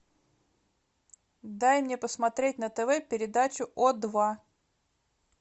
дай мне посмотреть на тв передачу о два